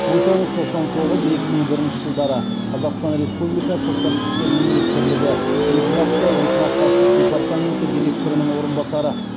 мың тоғыз жүз тоқсан тоғыз екі мың бірінші жылдары қазақстан республикасы сыртқы істер министрлігі екіжақты ынтымақтастық департаменті директорының орынбасары